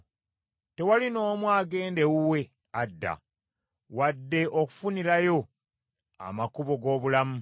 Tewali n’omu agenda ewuwe adda wadde okufunirayo amakubo g’obulamu.